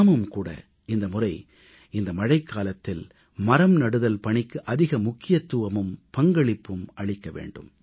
நாமும் கூட இந்த முறை இந்த மழைக்காலத்தில் மரம்நடுதல் பணிக்கு அதிக முக்கியத்துவமும் பங்களிப்பும் அளிக்க வேண்டும்